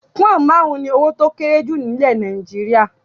Pọnn máarun ni owó tí ó kéré jù ni ilẹ̀ Nàìjíríà.